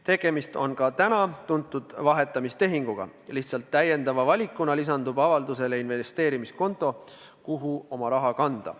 Tegemist on tuntud vahetamistehinguga, lihtsalt täiendava valikuna lisandub avaldusele investeerimiskonto, kuhu oma raha kanda.